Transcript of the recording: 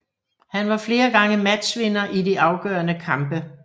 Han var flere gange matchvinder i de afgørende kampe